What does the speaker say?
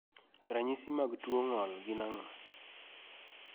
Ranyisi mag tuo ng'ol gin ang'o?